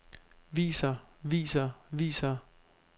viser viser viser